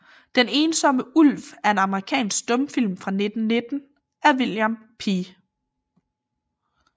Den ensomme Ulv er en amerikansk stumfilm fra 1919 af William P